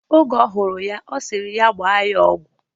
Oge ọhụrụ ya, ọ sịrị ya gbaa ya ọgwụ.